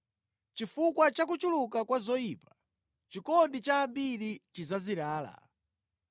Chifukwa cha kuchuluka kwa zoyipa, chikondi cha ambiri chidzazirala,